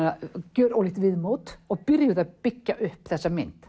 gjör ólíkt viðmót og byrjuð að byggja upp þessa mynd